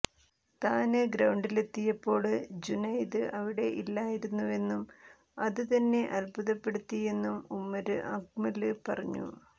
താന് ഗ്രൌണ്ടിലെത്തിയപ്പോള് ജുനൈദ് അവിടെ ഇല്ലായിരുന്നുവെന്നും അത് തന്നെ അത്ഭുതപ്പെടുത്തിയെന്നും ഉമര് അക്മല് പറഞ്ഞു